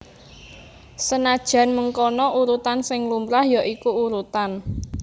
Senadyan mengkono urutan sing lumrah ya iku urutan